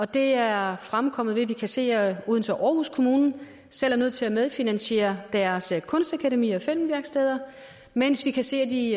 det er fremkommet ved at vi kan se at odense kommune og aarhus kommune selv er nødt til at medfinansiere deres kunstakademier og filmværksteder mens vi kan se at de